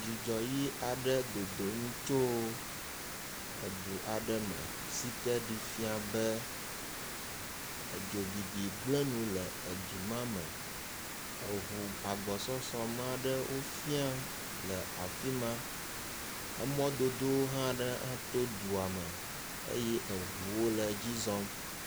Dzudzɔ ʋi aɖe le dodom tso edu aɖe me si ke ɖii fia be, edzobibi gblẽ nu le edu ma me. Eŋu agbɔsɔsɔ me aɖe wofia le afi ma. Emɔdodo hã aɖe hã to edua me eye eŋuwo le edzi zɔm.